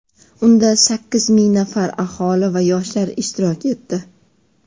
Unda sakkiz ming nafar aholi va yoshlar ishtirok etdi.